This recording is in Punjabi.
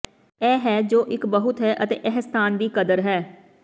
ਇਹ ਹੈ ਜੋ ਇੱਕ ਬਹੁਤ ਹੈ ਅਤੇ ਇਹ ਸਥਾਨ ਦੀ ਕਦਰ ਹੈ